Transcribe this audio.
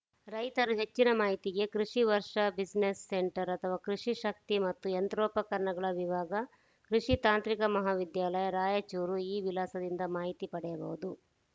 ರೈತರು ಹೆಚ್ಚಿನ ಮಾಹಿತಿಗೆ ಕೃಷಿ ವರ್ಷಾ ಬಿಸ್ನೆಸ್‌ ಸೆಂಟರ್‌ ಆಥವಾ ಕೃಷಿ ಶಕ್ತಿ ಮತ್ತು ಯಂತ್ರೋಪಕರಣಗಳ ವಿಭಾಗ ಕೃಷಿ ತಾಂತ್ರಿಕ ಮಹಾವಿದ್ಯಾಲಯ ರಾಯಚೂರು ಈ ವಿಳಾಸದಿಂದ ಮಾಹಿತಿ ಪಡೆಯಬಹುದು